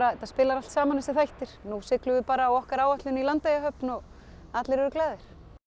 þetta spili allt saman þessir þættir nú siglum við bara á okkar áætlun í Landeyjahöfn og allir eru glaðir